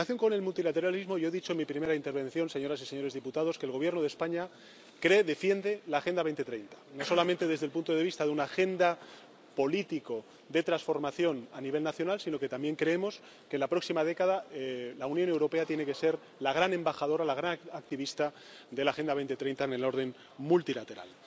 En relación con el multilateralismo, yo he dicho en mi primera intervención, señoras y señores diputados, que el Gobierno de España cree, defiende la Agenda 2030, no solamente desde el punto de vista de una agenda política de trasformación a nivel nacional, sino que también creemos que en la próxima década la Unión Europea tiene que ser la gran embajadora, la gran activista de la Agenda 2030 en el orden multilateral.